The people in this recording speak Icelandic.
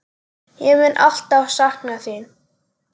Ég mun alltaf sakna þín.